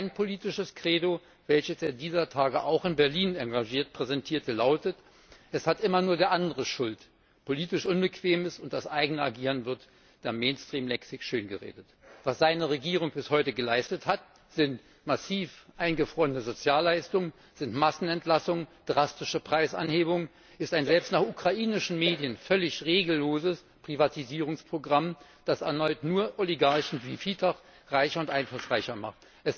Sein politisches Credo, welches er dieser Tage auch in Berlin engagiert präsentierte, lautet Es hat immer nur der andere Schuld, politisch Unbequemes und das eigene Agieren werden in der Mainstreamlexik schöngeredet. Was seine Regierung bis heute geleistet hat, sind massiv eingefrorene Sozialleistungen, es sind Massenentlassungen, drastische Preisanhebungen, es ist ein selbst nach ukrainischen Medien völlig regelloses Privatisierungsprogramm, das erneut nur Oligarchen wie Firtasch reicher und einflussreicher macht.